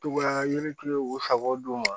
Togoya yiri turu u sago don